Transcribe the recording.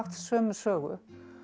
sömu sögu